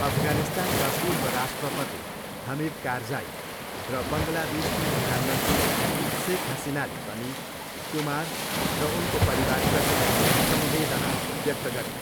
अफगानिस्तानका पूर्व राष्ट्रपति हमिद कारजाई र बङ्गलादेशकी प्रधानमन्त्री सेख हसिनाले पनि कुमार र उनको परिवारप्रति समवेदना व्यक्त गरे।